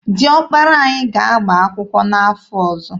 Dị ọkpara anyị ga-agba akwụkwọ n'afọ ọzọ.